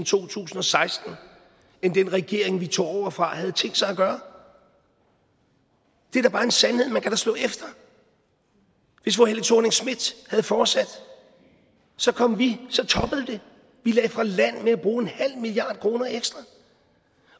to tusind og seksten end den regering vi tog over fra havde tænkt sig at gøre det er da bare en sandhed man kan slå efter hvis fru helle thorning schmidt havde fortsat så kom vi så toppede det vi lagde fra land med at bruge en halv milliard kroner ekstra